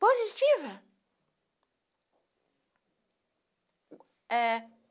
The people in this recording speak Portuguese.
Positiva. É